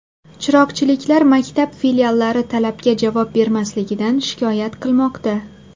Chiroqchiliklar maktab filiallari talabga javob bermasligidan shikoyat qilmoqda.